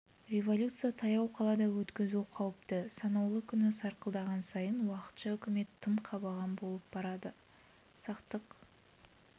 революция таяу қалада өткізу қауіпті санаулы күні сарқылған сайын уақытша үкімет тым қабаған болып барады сақтық